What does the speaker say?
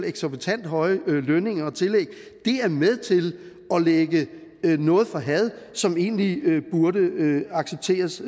eksorbitant høje lønninger og tillæg er med til at lægge noget for had som egentlig burde accepteres